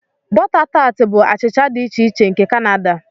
Butter tart bụ achịcha dị iche iche nke Canada.